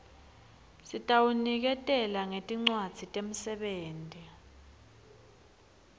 sitawuniketela ngetincwadzi temsebenti